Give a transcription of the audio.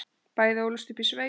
Bæði ólust upp í sveit.